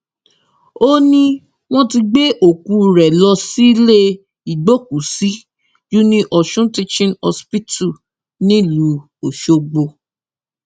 ó ní wọn ti gbé òkú rẹ lọ sílé ìgbókùúsí uniosun teaching hospital nílùú ọsọgbó